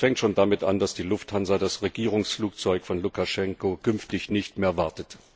Und das fängt schon damit an, dass die Lufthansa das Regierungsflugzeug von Lukaschenko künftig nicht mehr wartet.